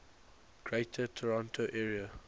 greater toronto area